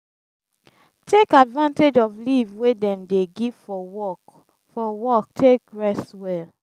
take advantage of leave wey dem dey give for work for work take rest well